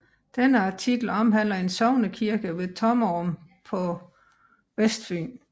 Denne artikel omhandler en sognekirke ved Tommerup på Vestfyn